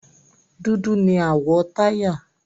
Dúdú ni àwọ̀ táyà.